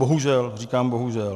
Bohužel, říkám bohužel.